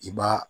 I b'a